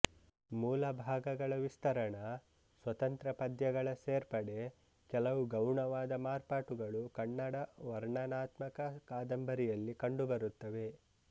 ಮೂಲಭಾಗಗಳ ವಿಸ್ತರಣ ಸ್ವತಂತ್ರ ಪದ್ಯಗಳ ಸೇರ್ಪಡೆ ಕೆಲವು ಗೌಣವಾದ ಮಾರ್ಪಾಟುಗಳು ಕನ್ನಡ ವರ್ಣನಾತ್ಮಕ ಕಾದಂಬರಿಯಲ್ಲಿ ಕಂಡುಬರುತ್ತವೆ